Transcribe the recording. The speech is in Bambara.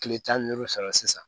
Kile tan ni duuru sɔrɔ sisan